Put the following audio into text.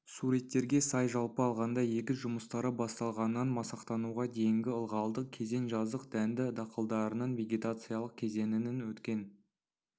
суреттерге сай жалпы алғанда егіс жұмыстары басталғаннан масақтануға дейінгі ылғалды кезең жаздық дәнді дақылдарының вегетациялық кезеңінің өткен